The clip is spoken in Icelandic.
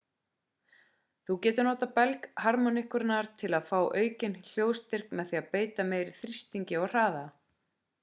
þú getur notað belg harmóníkunnar til að fá aukinn hljóðstyrk með því að beita meiri þrýstingi og hraða